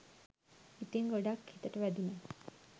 ඉතිං ගොඩක් හිතට වැදුනා